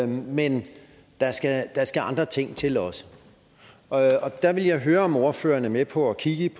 men der skal andre ting til også og der vil jeg høre om ordføreren er med på at kigge